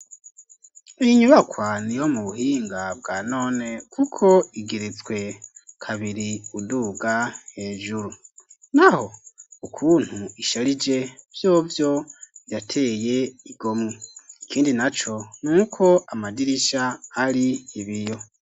Iyo nyubakwa ni yo mu buhinga bwa none kuko igeretswe kabiri uduga hejuru naho ukuntu isharije vyovyo yateye igomwe ikindi naco n'uko amadirisha ari ibiyo.